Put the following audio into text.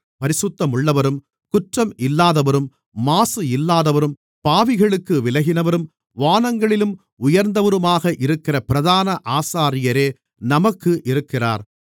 பரிசுத்தமுள்ளவரும் குற்றம் இல்லாதவரும் மாசு இல்லாதவரும் பாவிகளுக்கு விலகினவரும் வானங்களிலும் உயர்ந்தவருமாக இருக்கிற பிரதான ஆசாரியரே நமக்கு இருக்கிறார்